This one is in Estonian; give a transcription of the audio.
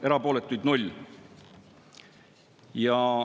Erapooletuid 0.